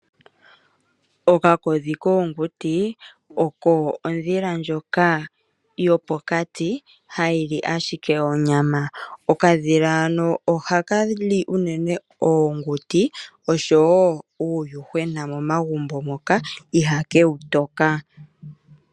Okakodhi koonguti oko ondhila ndjoka yopokati hayi li ashike onyama. Okadhila hano ohaka li unene oonguti oshowo uuyuhwena momagumbo moka ihake wu toka.